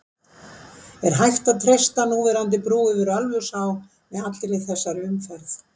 En er hægt að treysta núverandi brú yfir Ölfusá með allri þessari umferð?